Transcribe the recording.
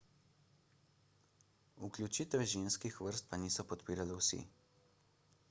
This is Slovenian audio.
vključitve ženskih vrst pa niso podpirali vsi